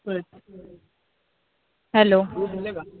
बर. Hello